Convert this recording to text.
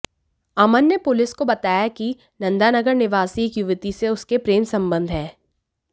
अमन ने पुलिस को बताया कि नंदानगर निवासी एक युवती से उसके प्रेम संबंध हैं